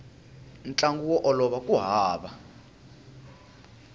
ntlangu wo olova ku hava